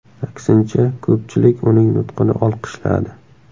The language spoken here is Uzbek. Aksincha, ko‘pchilik uning nutqini olqishladi.